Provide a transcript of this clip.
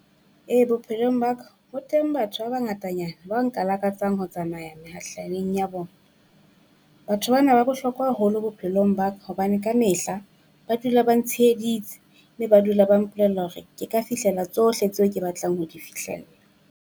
Ee bophelong ba ka ho teng batho ba bangatanyana ba nka lakatsang ho tsamaya mehahlaleng ya bona. Batho bana ba bohlokwa haholo bophelong ba ka hobane ka mehla ba dula ba ntsheheditse, mme ba dula ba mpolella hore ke ka fihlela tsohle tseo ke batlang ho di fihlella.